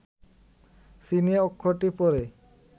চীনে, অক্ষরটি পরে